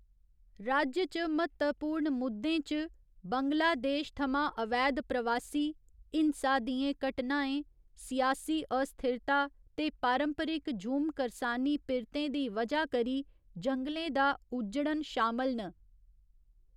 राज्य च म्हत्तवपूर्ण मुद्दें च बंगलादेश थमां अवैध प्रवासी, हिंसा दियें घटनाएं, सियासी अस्थिरता ते पारंपरिक झूम करसानी पिरतें दी वजह करी जंगलें दा उज्जड़न शामल न।